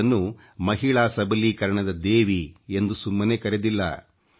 ಇವರನ್ನು ಮಹಿಳಾ ಸಬಲೀಕರಣದ ದೇವಿ ಎಂದು ಸುಮ್ಮನೆ ಕರೆದಿಲ್ಲ